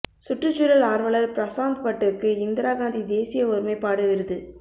சுற்றுச்சூழல் ஆா்வலா் பிரசாத் பட்டுக்கு இந்திரா காந்தி தேசிய ஒருமைப்பாடு விருது